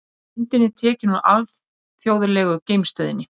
Myndin er tekin úr Alþjóðlegu geimstöðinni.